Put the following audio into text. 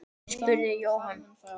spurði Jóhann.